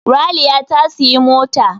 Raliya ta siyi mota